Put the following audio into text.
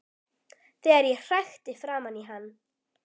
Þegar ég hrækti framan í hann.